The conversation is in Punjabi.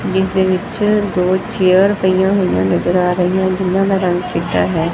ਜਿਸ ਦੇ ਵਿੱਚ ਦੋ ਚੇਅਰ ਪਈਆਂ ਹੋਈਆਂ ਨਜ਼ਰ ਆ ਰਹੀਆਂ ਜਿੰਨ੍ਹਾਂ ਦਾ ਚਿੱਟਾ ਹੈ।